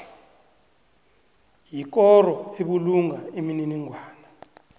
yikoro ebulunga imininingwana